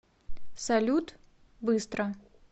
салют быстро